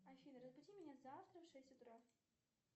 афина разбуди меня завтра в шесть утра